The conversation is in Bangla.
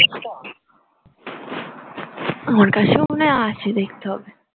আমার কাছেও মনে হয় আসছে দেখতে হবে